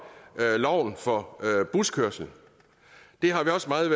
loven for buskørsel det har vi også meget